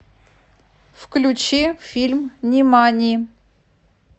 включи фильм нимани